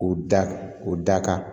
O da o da kan